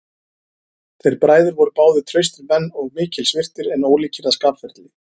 Þeir bræður voru báðir traustir menn og mikils virtir, en ólíkir að skapferli.